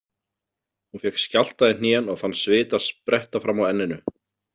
Hún fékk skjálfta í hnén og fann svita spretta fram á enninu.